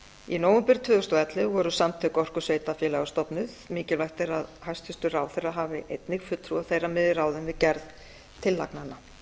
í nóvember tvö þúsund og ellefu voru samtök orkusveitarfélaga stofnuð mikilvægt er að hæstvirtur ráðherra hafi einnig fulltrúa þeirra með í ráðum við gerð tillagnanna